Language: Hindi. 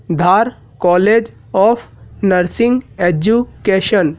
Dhar college of nursing education.